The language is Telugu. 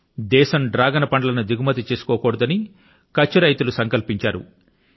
దేశం డ్రాగన్ ఫ్రూట్స్ ను దిగుమతి చేసుకోకూడదని కచ్ఛ్ రైతులు సంకల్పించారు